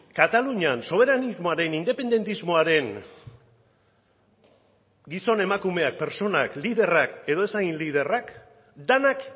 katalunian soberanismoaren independentismoaren gizon emakumeak pertsonak liderrak edo ez hain liderrak denak